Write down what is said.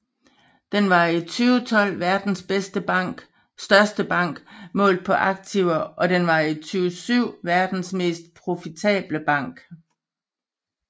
Den var i 2012 verdens største bank målt på aktiver og den var i 2007 verdens mest profitable bank